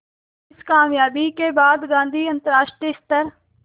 इस क़ामयाबी के बाद गांधी अंतरराष्ट्रीय स्तर